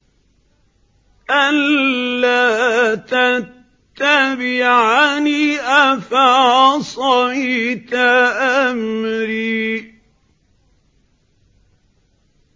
أَلَّا تَتَّبِعَنِ ۖ أَفَعَصَيْتَ أَمْرِي